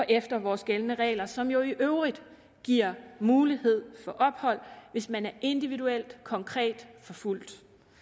efter vores gældende regler som jo i øvrigt giver mulighed for ophold hvis man er individuelt og konkret forfulgt